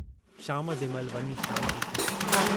शाम जे महिल वञी शांती थी।